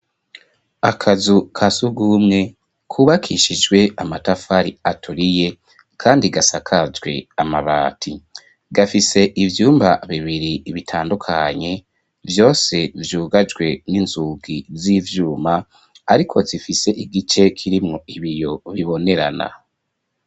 Akazu kasurwumwe kubakishijwe amatafari aturiye kandi gasakajwe amabati. Gafise ivyumba bibiri bitandukanye, vyose vyugajwe n'inzugi z'ivyuma ariko zifise igice kirimwo ibiyo bibonerana.